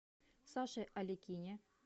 саше аликине